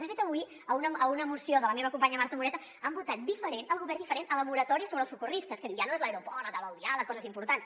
de fet avui a una moció de la meva companya marta moreta han votat diferent el govern diferent a la moratòria sobre els socorristes que diu ja no és l’aeroport la taula del diàleg coses importants